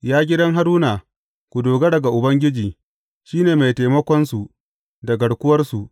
Ya gidan Haruna, ku dogara ga Ubangiji, shi ne mai taimakonsu da garkuwarsu.